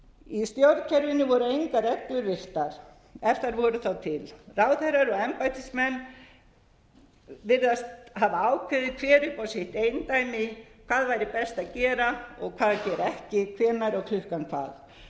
í stjórnkerfinu voru engar reglur virtar ef þær voru þá til ráðherrar og embættismenn virðast hafa ákveðið hver upp á sitt eindæmi hvað væri best að gera og hvað gera ekki hvenær og klukkan hvað